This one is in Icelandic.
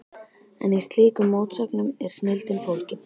En í slíkum mótsögnum er snilldin fólgin.